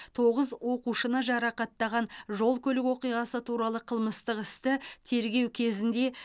тоғыз оқушыны жарақаттаған жол көлік оқиғасы туралы қылмыстық істі тергеу кезінде